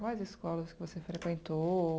Quais escolas que você frequentou?